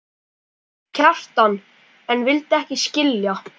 Kjartan en vildi ekki skilja.